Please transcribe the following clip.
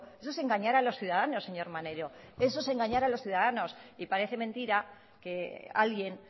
eso es engañar a los ciudadanos señor maneiro eso es engañar a los ciudadanos y parece mentira que alguien